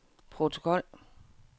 protokol